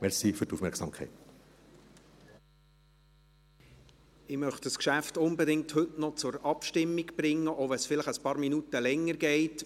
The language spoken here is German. Ich möchte dieses Geschäft unbedingt heute noch zur Abstimmung bringen, auch wenn es vielleicht ein paar Minuten länger dauert.